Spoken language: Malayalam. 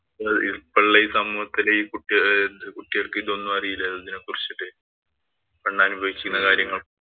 ഇപ്പോഴുള്ള സമൂഹത്തിലെ ഈ കുട്ടികള്‍ക്ക് ഇതൊന്നും അറിയില്ലല്ലോ. ഇതിനെ കുറിച്ചിട്ട്. അന്ന് അനുഭവിച്ചിരുന്ന കാര്യങ്ങള്‍.